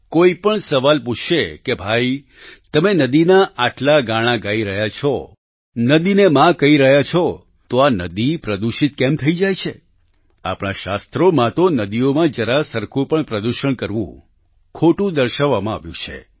કોઈપણ સવાલ પૂછશે કે ભાઈ તમે નદીના આટલા ગાણાં ગાઈ રહ્યા છો નદીને મા કહી રહ્યા છો તો આ નદી પ્રદૂષિત કેમ થઈ જાય છે આપણા શાસ્ત્રોમાં તો નદીઓમાં જરા સરખું પણ પ્રદૂષણ કરવું ખોટું દર્શાવવામાં આવ્યું છે